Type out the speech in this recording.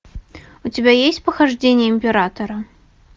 у тебя есть похождения императора